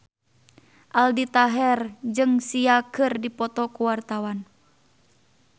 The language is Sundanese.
Aldi Taher jeung Sia keur dipoto ku wartawan